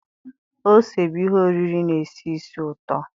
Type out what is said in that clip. ose bụ ihe oriri na-esi ísì ụtọ